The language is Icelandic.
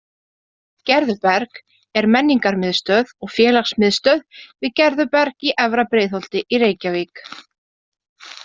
Gerðuberg er menningarmiðstöð og félagsmiðstöð við Gerðuberg í Efra Breiðholti í Reykjavík.